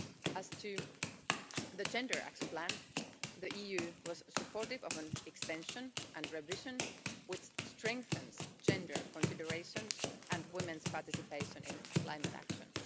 As to the gender action plan, the EU was supportive of an extension and revision which strengthens gender considerations and women's participation in climate action.